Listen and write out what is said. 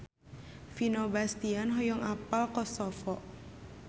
Vino Bastian hoyong apal Kosovo